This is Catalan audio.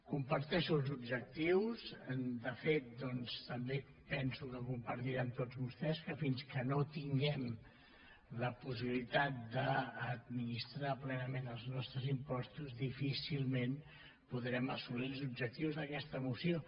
comparteixo els objectius de fet doncs també penso que compartiran tots vostès que fins que no tinguem la possibilitat d’administrar plenament els nostres impostos difícilment podrem assolir els objectius d’aquesta moció